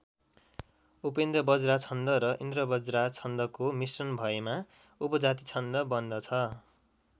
उपेन्द्रवज्रा छन्द र इन्द्रवज्रा छन्दको मिश्रण भएमा उपजाति छन्द बन्दछ।